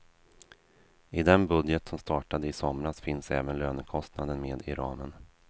I den budget som startade i somras finns även lönekostnaden med i ramen.